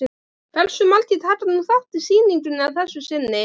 Hversu margir taka nú þátt í sýningunni að þessu sinni?